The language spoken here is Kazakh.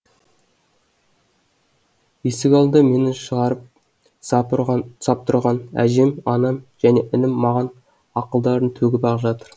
есік алдында мені шығарып сап тұрған әжем анам және інім маған ақылдарын төгіп ақ жатыр